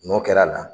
N'o kɛra a la